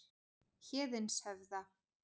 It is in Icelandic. Héðinshöfða